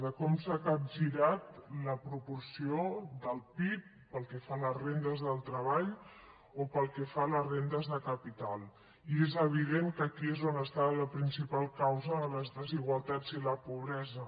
de com s’ha capgirat la proporció del pib pel que fa a les rendes del treball o pel que fa a les rendes de capital i és evident que aquí és on està la principal causa de les desigualtats i la pobresa